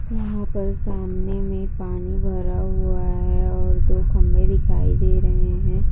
यहाँ पर सामने में पानी भरा हुआ है और दो खम्बे दिखाई दे रहे है।